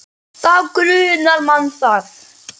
Þá grunar mann það.